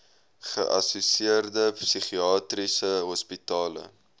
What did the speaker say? geassosieerde psigiatriese hospitale